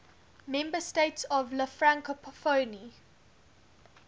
member states of la francophonie